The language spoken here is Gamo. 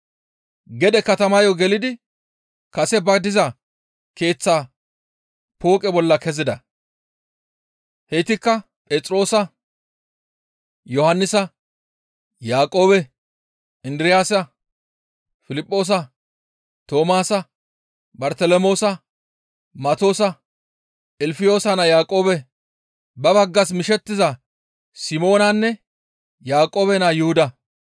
Gede katamayo gelidi kase ba diza keeththaa pooqe bolla kezida; heytikka Phexroosa, Yohannisa, Yaaqoobe, Indiraasa, Piliphoosa, Toomaasa, Bartelemoosa, Matoosa, Ilfiyoosa naa Yaaqoobe, ba baggas mishettiza Simoonanne Yaaqoobe naa Yuhuda.